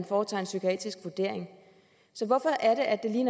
foretager en psykiatrisk vurdering så hvorfor er det at det lige